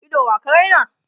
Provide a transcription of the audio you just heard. Ido wa ka Raina?